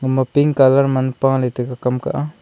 aman pink colour man paley tega kam ka a.